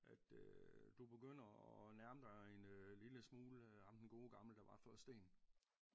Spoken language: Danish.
At øh du begynder at nærme dig en lille smule ham den gode gamle der var før Sten